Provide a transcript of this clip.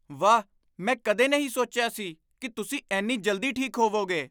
ਵਾਹ! ਮੈਂ ਕਦੇ ਨਹੀਂ ਸੋਚਿਆ ਸੀ ਕਿ ਤੁਸੀਂ ਇੰਨੀ ਜਲਦੀ ਠੀਕ ਹੋਵੋਗੇ।